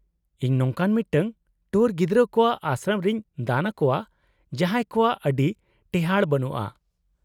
-ᱤᱧ ᱱᱚᱝᱠᱟᱱ ᱢᱤᱫᱴᱟᱝ ᱴᱩᱣᱟᱹᱨ ᱜᱤᱫᱽᱨᱟᱹ ᱠᱚᱣᱟᱜ ᱟᱥᱨᱚᱢ ᱨᱮᱧ ᱫᱟᱱ ᱟᱠᱚᱣᱟ ᱡᱟᱦᱟᱸᱭ ᱠᱚᱣᱟᱜ ᱟᱹᱰᱤ ᱴᱮᱦᱟᱸᱲ ᱵᱟᱹᱱᱩᱜᱼᱟ ᱾